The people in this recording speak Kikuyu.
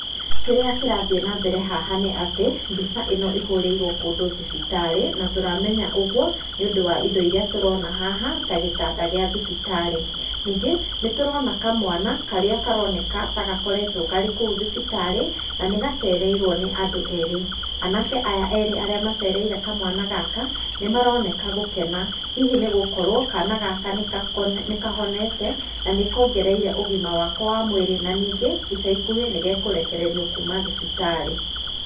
Kĩrĩa kĩrathiĩ nambere haha nĩ atĩ mbica ĩno ĩhũrĩirwe kũndũ thibitarĩ na tũramenya ũguo nĩũndũ wa indo irĩa tũrona haha ta gĩtanda kĩa thibitarĩ, ningĩ nĩtũrona kamwana karĩa karoneka gakoretwo karĩ kũu thibitarĩ na nĩgacereirwe nĩ andũ erĩ, anake aya erĩ macereire kamwana gaka nĩ maroneka gũkena hihi nĩgũkorwo kana gaka nĩkahonete na nĩkongereire ũgima wako wa mwĩri na nĩngĩ ica ikuhĩ nĩgekũrekererwo kuuma thibitarĩ .